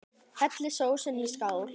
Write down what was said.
Hellið sósunni í skál.